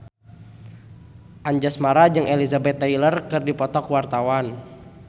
Anjasmara jeung Elizabeth Taylor keur dipoto ku wartawan